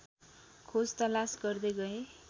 खोजतलास गर्दै गए